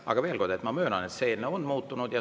Aga veel kord, ma möönan, et see eelnõu on muutunud.